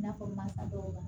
I n'a fɔ mansa dɔw la